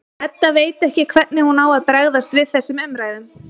Edda veit ekki hvernig hún á að bregðast við þessum umræðum.